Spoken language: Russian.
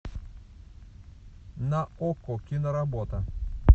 на окко киноработа